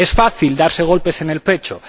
Es fácil darse golpes en el pecho